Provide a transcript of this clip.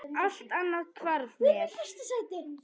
Allt annað hvarf mér.